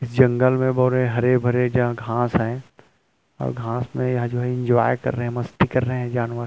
इस जंगल में बोरे हरे-भरे जहां घांस है और घांस में जो है एन्जॉय कर रहै है मस्ती कर रहै है जानवर --